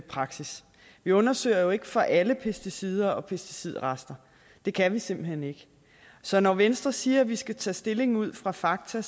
praksis vi undersøger jo ikke for alle pesticider og pesticidrester det kan vi simpelt hen ikke så når venstre siger at vi skal tage stilling ud fra fakta